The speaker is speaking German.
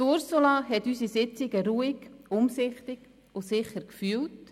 Ursula Zybach hat unsere Sitzungen ruhig, umsichtig und sicher geführt.